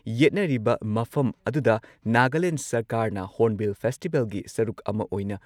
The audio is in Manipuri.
ꯌꯦꯠꯅꯔꯤꯕ ꯃꯐꯝ ꯑꯗꯨꯗ ꯅꯥꯒꯥꯂꯦꯟꯗ ꯁꯔꯀꯥꯔꯅ ꯍꯣꯔꯟ ꯕꯤꯜ ꯐꯦꯁꯇꯤꯚꯦꯜꯒꯤ ꯁꯔꯨꯛ ꯑꯃ ꯑꯣꯏꯅ